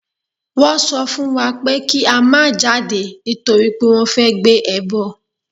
Wọ́n sọ fún wa pé kí a má jáde nítorí pé wọ́n fẹ́ gbé ẹbọ.